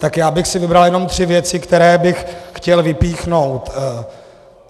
Tak já bych si vybral jenom tři věci, které bych chtěl vypíchnout.